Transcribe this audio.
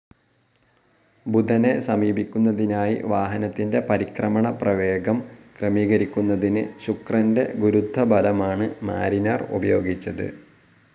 ബുധനെ സമീപിക്കുന്നതിനായി വാഹനത്തിന്റെ പരിക്രമണ പ്രവേഗം ക്രമീകരിക്കുന്നതിന്‌ ശുക്രന്റെ ഗുരുത്വബലമാണ്‌ മാരിനർ ഉപയോഗിച്ചത്.